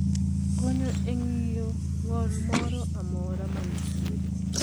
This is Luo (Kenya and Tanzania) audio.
Konyo e ng`iyo ng`ol moro amora manitiere,